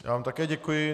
Já vám také děkuji.